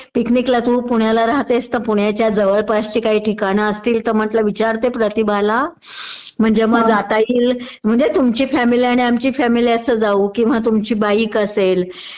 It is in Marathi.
पिकनिकला तू पुण्याला राहतेस तर पुण्याच्या जवळपासची काही ठिकाणं असतील तर म्हटलं विचारते प्रतिभाला म्हणजे मग जात येईल.म्हणजे तुमची फॅमिली आणि आमची फॅमिली असं जाऊ किंवा तुमची बाईक असेल